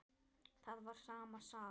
Það var sama sagan.